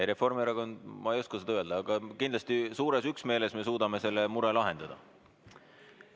Ei, Reformierakond, ma ei oska seda öelda, aga kindlasti suures üksmeeles me suudame selle mure lahendada.